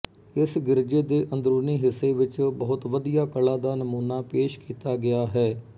ਇਸ ਗਿਰਜੇ ਦੇ ਅੰਦਰੂਨੀ ਹਿੱਸੇ ਵਿੱਚ ਬਹੁਤ ਵਧੀਆ ਕਲਾ ਦਾ ਨਮੂਨਾ ਪੇਸ਼ ਕੀਤਾ ਗਿਆ ਹੈ